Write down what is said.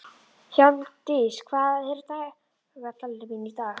Hjálmdís, hvað er á dagatalinu mínu í dag?